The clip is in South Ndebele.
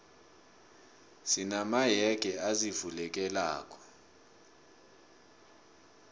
sina mayege azivulekelako